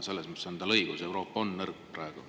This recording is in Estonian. Selles mõttes on teil õigus: Euroopa on nõrk.